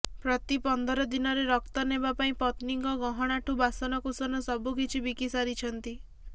ପ୍ରତି ପନ୍ଦର ଦିନରେ ରକ୍ତ ନେବା ପାଇଁ ପତ୍ନୀଙ୍କ ଗହଣାଠୁ ବାସନକୁସନ ସବୁକିଛି ବିକି ସାରିଛନ୍ତି